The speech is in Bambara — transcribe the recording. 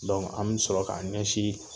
Dɔnku an be sɔrɔ k'an ɲɛsin